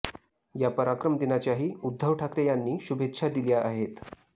या पराक्रम दिनाच्याही उद्धव ठाकरे यांनी शुभेच्छा दिल्या आहेत